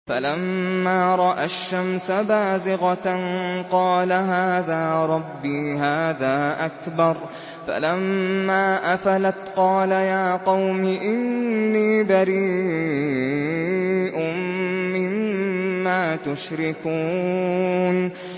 فَلَمَّا رَأَى الشَّمْسَ بَازِغَةً قَالَ هَٰذَا رَبِّي هَٰذَا أَكْبَرُ ۖ فَلَمَّا أَفَلَتْ قَالَ يَا قَوْمِ إِنِّي بَرِيءٌ مِّمَّا تُشْرِكُونَ